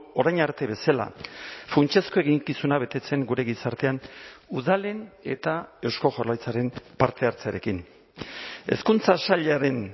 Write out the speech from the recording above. orain arte bezala funtsezko eginkizuna betetzen gure gizartean udalen eta eusko jaurlaritzaren parte hartzearekin hezkuntza sailaren